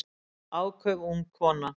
Áköf ung kona